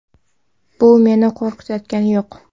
Bu meni qo‘rqitayotgani yo‘q.